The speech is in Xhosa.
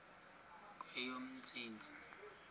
kweyomntsintsi